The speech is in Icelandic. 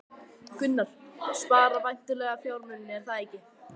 Gunnar: Spara væntanlega fjármuni, er það ekki?